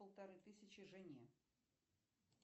полторы тысячи жене